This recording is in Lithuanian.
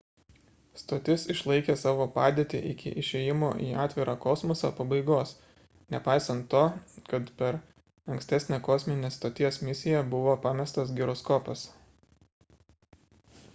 stotis išlaikė savo padėtį iki išėjimo į atvirą kosmosą pabaigos nepaisant to kad per ankstesnę kosminės stoties misiją buvo pamestas giroskopas